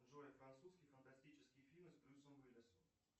джой французский фантастический фильм с брюсом уиллисом